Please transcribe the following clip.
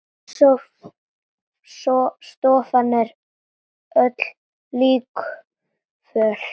Stofan er öll líkföl.